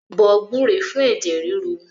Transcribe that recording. Bọ gbúre fún ẹ̀jẹ̀ ríru